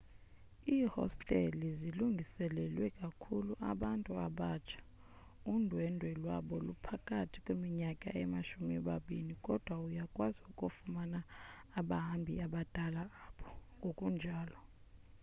iihosteli zilungiselelwe ikakhulu abantu abatsha undwendwe lwabo luphakathi kweninyaka emashumi mabini kodwa uyakwazi ukufumana abahambi abadala apho ngokunjalo